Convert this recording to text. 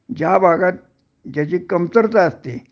ज्या भागात ज्याची कमतरता असते